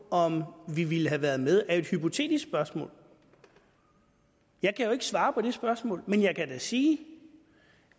om vi ville have været med er et hypotetisk spørgsmål jeg kan jo ikke svare på det spørgsmål men jeg kan da sige